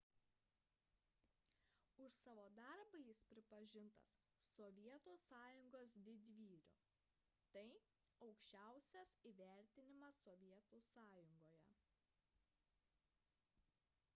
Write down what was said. už savo darbą jis pripažintas sovietų sąjungos didvyriu – tai aukščiausias įvertinimas sovietų sąjungoje